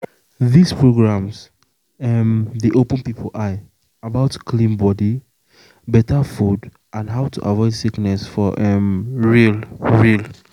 these programs um dey open people eye about clean body better food and how to avoid sickness for um real. real.